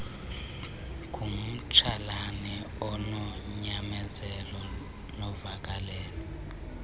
ngumtsalane ononyamezelo novakalelo